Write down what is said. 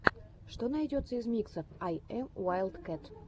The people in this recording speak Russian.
что найдется из миксов ай эм уайлдкэт